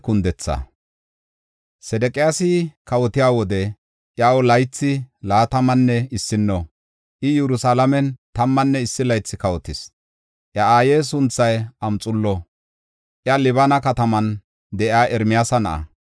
Sedeqiyaasi kawotiya wode, iyaw laythi laatamanne issino; I Yerusalaamen tammanne issi laythi kawotis. Iya aaye sunthay Amxaalo; iya Libina kataman de7iya Ermiyaasa na7a.